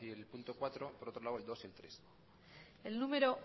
y el punto por otro lado el dos y el tres el número